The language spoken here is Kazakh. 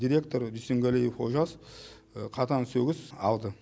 директор дүйсенгалиев олжас қатаң сөгіс алды